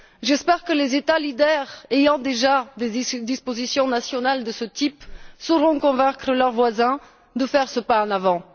J'espère que les États de tête, ayant déjà des dispositions nationales de ce type, sauront convaincre leurs voisins de faire ce pas en avant.